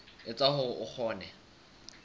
e etsa hore o kgone